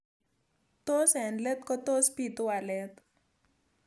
Tos eng let kotos bitu walet?